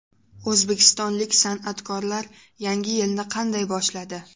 O‘zbekistonlik san’atkorlar yangi yilni qanday boshladi?